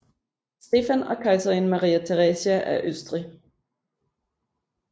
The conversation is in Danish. Stefan og kejserinde Maria Theresia af Østrig